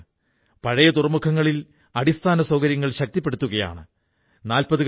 നിങ്ങളെല്ലാം രാജ്യത്തെ യുവ മനസ്സുകളെ വിദ്യാസമ്പന്നരാക്കുന്നതിന് വിലയേറിയ സംഭാവനയാണ് നല്കുന്നത്